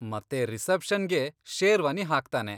ಮತ್ತೆ ರಿಸೆಪ್ಷನ್ಗೆ ಶೇರ್ವಾನಿ ಹಾಕ್ತಾನೆ.